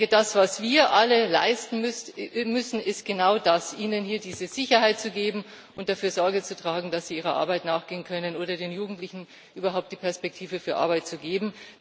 Das, was wir alle leisten müssen, ist genau das ihnen diese Sicherheit zu geben und dafür Sorge zu tragen, dass sie ihrer Arbeit nachgehen können, oder den Jugendlichen überhaupt die Perspektive für Arbeit zu geben.